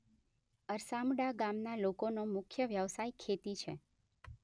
અરસામડા ગામના લોકોનો મુખ્ય વ્યવસાય ખેતી છે.